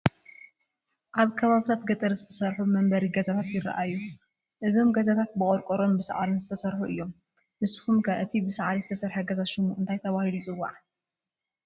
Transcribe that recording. ኣብ ከባብታት ገጠር ዝተሰርሑ መንበሪ ገዛታት ይራኣዩ፡፡ እዞም ገዛታት ብቆርቆሮን ብሳዕርን ዝተሰርሑ እዮም፡፡ ንስኹም ከ እቲ ብሳዕሪ ዝተሰርሐ ገዛ ሽሙ እንታይ ተባሂሉ ይፅዋዕ?